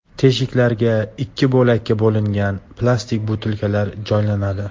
Teshiklarga ikki bo‘lakka bo‘lingan plastik butilkalar joylanadi.